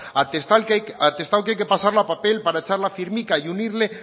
atestado que hay que pasarlo a papel para echar la firma y unirle